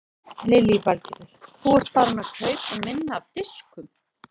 Lillý Valgerður: Þú ert farinn að kaupa minna af diskum?